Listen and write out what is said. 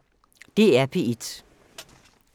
DR P1